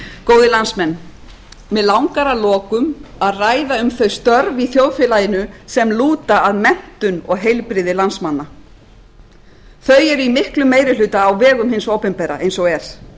góðir landsmenn mig langar að lokum að ræða um þau störf í þjóðfélaginu sem lúta að menntun og heilbrigði landsmanna þau eru í miklum meirihuta á vegum hins opinbera eins og er